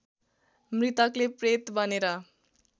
मृतकले प्रेत बनेर